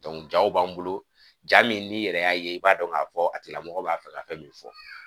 jaw b'an bolo ja min n'i yɛrɛ y'a ye i b'a dɔn k'a fɔ a tigilamɔgɔ b'a fɛ ka fɛn min fɔ